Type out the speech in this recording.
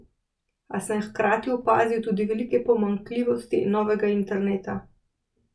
A sem hkrati opazil tudi velike pomanjkljivosti novega interneta.